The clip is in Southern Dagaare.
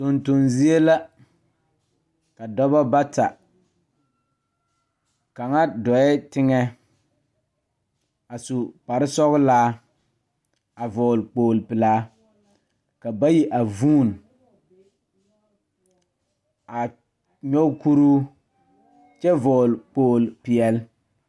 Tonton zie la ka dɔbɔ bata kaŋa dɔɛɛ teŋɛ a su kparesɔglaa a vɔgle kpogle pelaa ka bayi a vuune a nyoge kuruu kyɛ vɔgle kpogle peɛle.